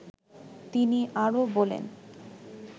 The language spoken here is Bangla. তিনি আরো বলেন